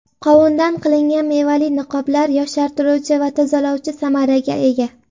Qovundan qilingan mevali niqoblar yoshartiruvchi va tozalovchi samaraga ega.